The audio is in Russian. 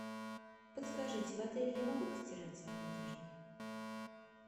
подскажите в отеле я могу постирать свою одежду